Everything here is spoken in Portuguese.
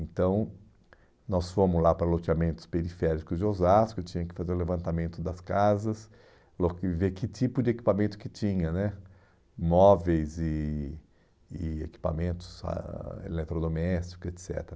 Então, nós fomos lá para loteamentos periféricos de Osasco, tinha que fazer o levantamento das casas, ver que tipo de equipamento que tinha né, móveis e e equipamentos ah eletrodomésticos, et cetera.